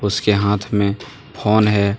उसके हाथ में फोन है।